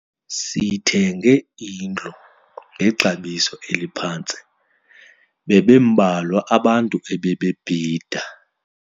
Sithenge indlu ngexabiso eliphantsi kuba bebembalwa abantu ebebebhida.